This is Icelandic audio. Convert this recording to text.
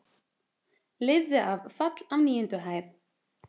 Lifði af fall af níundu hæð